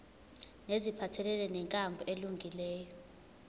neziphathelene nenkambo elungileyo